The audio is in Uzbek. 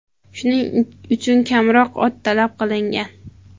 Shuning uchun kamroq ot talab qilingan.